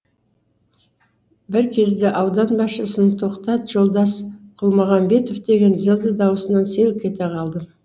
бір кезде аудан басшысының тоқтат жолдас құлмағанбетов деген зілді дауысынан селк ете қалдым